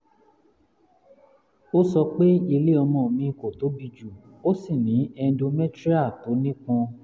ó sọ pé ilé ọmọ mi kò tóbi jù ó sì ní endometrial tó nípọn